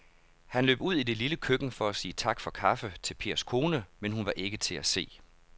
Han løb ud i det lille køkken for at sige tak for kaffe til Pers kone, men hun var ikke til at se.